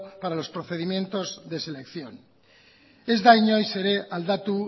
para los procedimientos de selección ez da inoiz ere aldatu